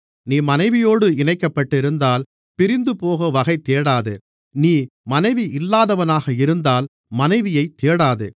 நீ மனைவியோடு இணைக்கப்பட்டிருந்தால் பிரிந்துபோக வகைதேடாதே நீ மனைவி இல்லாதவனாக இருந்தால் மனைவியைத் தேடாதே